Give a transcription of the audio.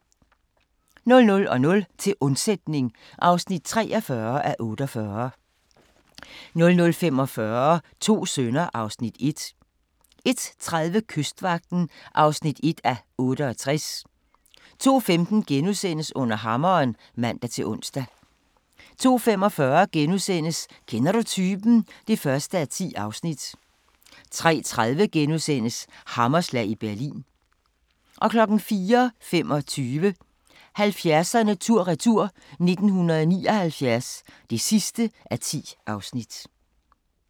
00:00: Til undsætning (43:48) 00:45: To sønner (Afs. 1) 01:30: Kystvagten (1:68) 02:15: Under hammeren *(man-ons) 02:45: Kender du typen? (1:10)* 03:30: Hammerslag i Berlin * 04:25: 70'erne tur-retur: 1979 (10:10)